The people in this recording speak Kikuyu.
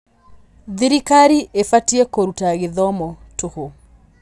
Thirikari ĩbatiĩ kũruta gĩthomo tũhũ.